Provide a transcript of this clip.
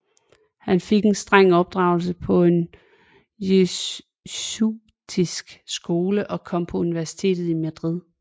Han fik en streng opdragelse på en jesuitisk skole og kom på universitetet i Madrid